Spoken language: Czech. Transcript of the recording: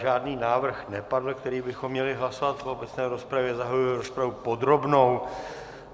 Žádný návrh nepadl, který bychom měli hlasovat po obecné rozpravě, zahajuji rozpravu podrobnou.